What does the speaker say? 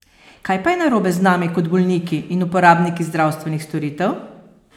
Kaj pa je narobe z nami kot bolniki in uporabniki zdravstvenih storitev?